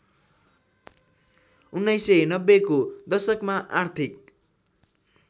१९९०को दशकमा आर्थिक